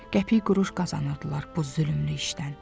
Qəpik quruş qazanırdılar bu zülmlü işdən.